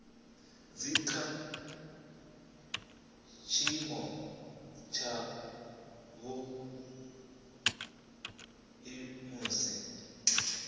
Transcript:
dzi kha tshiimo tshavhuḓi musi